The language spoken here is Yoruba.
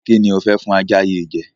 Kí ni ò fẹ́ fún ajá yìí jẹ?